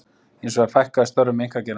Hins vegar fækkaði störfum í einkageiranum